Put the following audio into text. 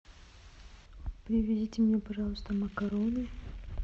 привезите мне пожалуйста макароны